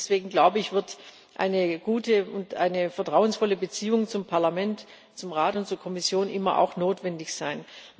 Deswegen wird, eine gute und eine vertrauensvolle Beziehung zum Parlament, zum Rat und zur Kommission immer auch notwendig sein.